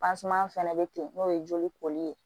fɛnɛ bɛ ten n'o ye joli koli ye